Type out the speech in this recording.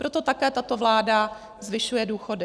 Proto také tato vláda zvyšuje důchody.